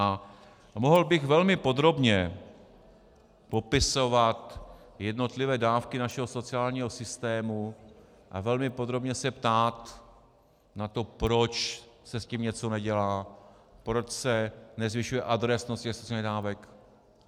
A mohl bych velmi podrobně popisovat jednotlivé dávky našeho sociálního systému a velmi podrobně se ptát na to, proč se s tím něco nedělá, proč se nezvyšuje adresnost těch sociálních dávek.